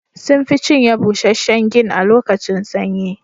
Sun fi cinye busasshen gin a lokacin sanyi